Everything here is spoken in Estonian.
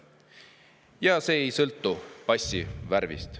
Ja see ei sõltu passi värvist.